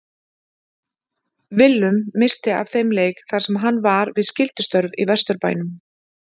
Willum missti af þeim leik þar sem hann var við skyldustörf í Vesturbænum.